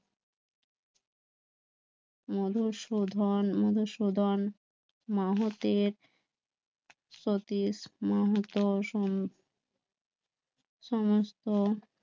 মধুসূদন মধুসূদন মাহাতের সমস্ত